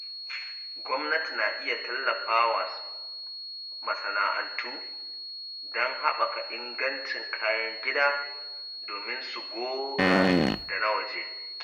Gwamnati na iya tallafa wa masana’antu don haɓaka ingancin kayan gida domin su goga da na waje.